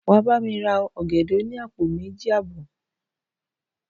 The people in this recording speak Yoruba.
Wà á bá mi ra ọ̀gẹ̀dẹ̀ òní àpò méji àbò.